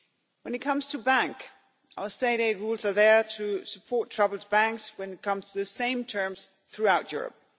to. When it comes to banks our state aid rules are there to support troubled banks when it comes to the same terms throughout Europe.